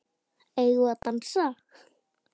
Eigum við að dansa?